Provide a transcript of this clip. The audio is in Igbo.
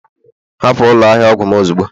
hapụ ụlọ ahịa ọgwụ m ozugbo